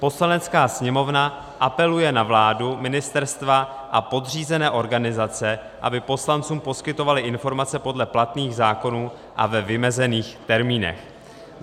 Poslanecká sněmovna apeluje na vládu, ministerstva a podřízené organizace, aby poslancům poskytovaly informace podle platných zákonů a ve vymezených termínech.